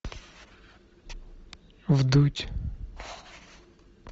вдудь